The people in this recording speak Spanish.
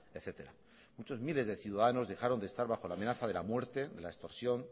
etcétera muchos miles de ciudadanos dejaron de estar bajo la amenaza de la muerte de la extorsión